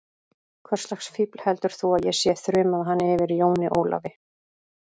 Hvurslags fífl heldur þú að ég sé, þrumaði hann yfir Jóni Ólafi.